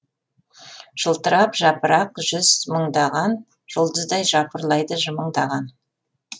жылтырап жапырақ жүз мыңдаған жұлдыздай жыпырлайды жымыңдаған